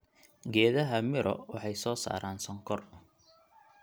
Geedaha miro waxay soo saaraan sonkor.